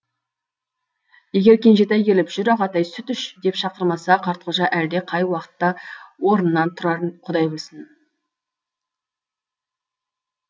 егер кенжетай келіп жүр ағатай сүт іш деп шақырмаса қартқожа әлде қай уақытта орнынан тұрарын құдай білсін